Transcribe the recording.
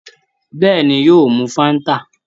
Bẹ́ẹ̀ni, yóò mu Fáńtà.